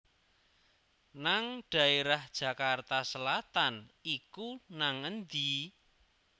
nang daerah Jakarta Selatan iku nang endi?